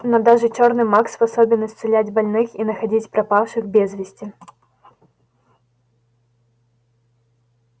но даже чёрный маг способен исцелять больных и находить пропавших без вести